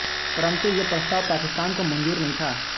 परंतु यह प्रस्ताव पाकिस्तान को मंजूर नही था